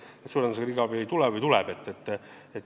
Kas sa pidasid silmas, et äkki riigiabi luba ei tule või tuleb?